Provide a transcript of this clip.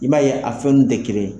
I b'a ye a fɛn ninnu tɛ kelen ye.